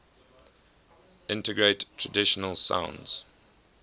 integrate traditional sounds